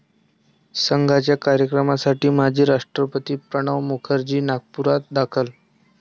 संघाच्या कार्यक्रमासाठी माजी राष्ट्रपती प्रणव मुखर्जी नागपुरात दाखल